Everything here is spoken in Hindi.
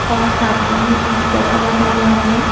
और सामने ही एक सोफा लगा हुआ अंदर--